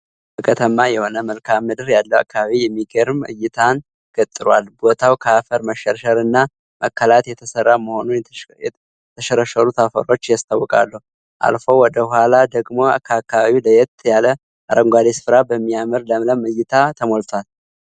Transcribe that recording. ዳገታማ የሆነ መልካምድር ያለው አካባቢ የሚገርም እይታን ገጥሯል። ቦታው ከአፈር መሸርሸር እና መከላት የተሰራ መሆኑን የተሸረሸሩት አፈሮች ያስታውቃሉ። አልፎ ወደ ኋላ ደግሞ ከአካባቢው ለየት ያለ አረንጓዴ ስፍራ በሚያምር ለምለም እይታ ተሞልቷል።